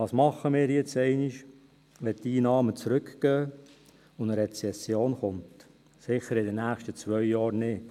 Was machen wir nun einmal, wenn die Einnahmen zurückgehen und eine Rezession kommt – sicher in den nächsten zwei Jahren nicht?